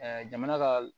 jamana ka